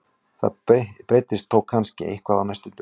Það breytist þó kannski eitthvað á næstu dögum.